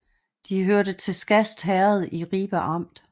De hørte til Skast Herred i Ribe Amt